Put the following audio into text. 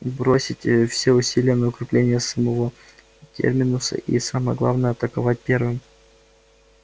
бросить ээ все усилия на укрепление самого терминуса и самое главное атаковать первым